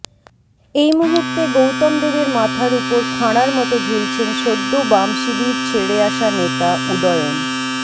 এইমুহুর্তে গৌতম দেবের মাথার উপর খাঁড়ার মতো ঝুলছেন সদ্য বাম শিবির ছেড়ে আসা নেতা উদয়ন